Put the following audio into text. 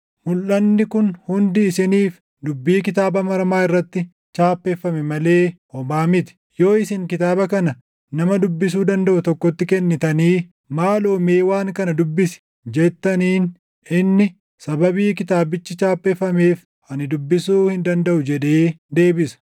Mulʼanni kun hundi isiniif dubbii kitaaba maramaa irratti chaappeffame malee homaa miti. Yoo isin kitaaba kana nama dubbisuu dandaʼu tokkotti kennitanii, “Maaloo mee waan kana dubbisi” jettaniin inni, “Sababii kitaabichi chaappeffameef ani dubbisuu hin dandaʼu” jedhee deebisa.